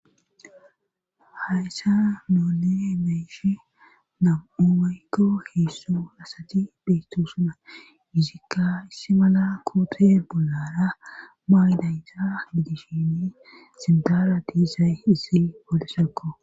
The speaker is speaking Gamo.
Hayssa noone meishi nam'umaykko heesso asati beyto suna yizikka issi mala koote bolara maaydayta gidishini sindara diisay issi polesakko.